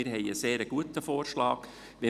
Wir haben einen sehr guten Vorschlag vorliegen.